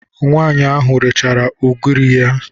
Nwaanyị ahụ rechara ugiri ya.